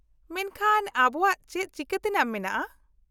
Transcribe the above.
-ᱢᱮᱱᱠᱷᱟᱱ, ᱟᱵᱚᱣᱟᱜ ᱪᱮᱫ ᱪᱤᱠᱟᱹᱛᱮᱱᱟᱜ ᱢᱮᱱᱟᱜᱼᱟ ?